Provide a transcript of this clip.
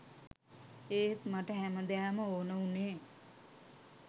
ඒත් මට හැමදාම ඕන වුණේ